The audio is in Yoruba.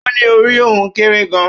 Ó ní orí òun kéré gan-an